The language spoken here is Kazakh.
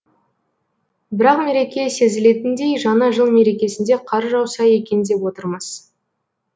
бірақ мереке сезілетіндей жаңа жыл мерекесінде қар жауса екен деп отырмыз